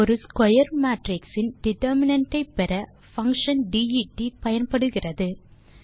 ஒரு square matrix இன் determinant ஐ பெற பங்ஷன் det பயன்படுகிறது